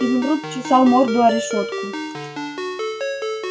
изумруд чесал морду о решётку